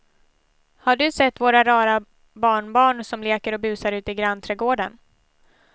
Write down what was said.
Har du sett våra rara barnbarn som leker och busar ute i grannträdgården!